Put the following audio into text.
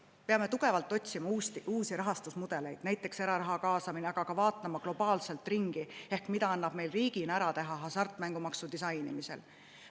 Me peame tugevalt otsima uusi rahastusmudeleid, näiteks eraraha kaasama, aga vaatama ka globaalselt ringi, et mida annab meil riigina ära teha hasartmängumaksu disainimisel.